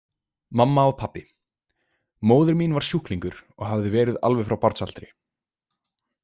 Mamma og pabbi Móðir mín var sjúklingur og hafði verið alveg frá barnsaldri.